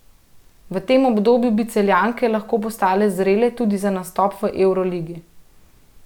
V tem obdobju bi Celjanke lahko postale zrele tudi za nastop v evroligi.